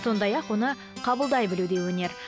сондай ақ оны қабылдай білу де өнер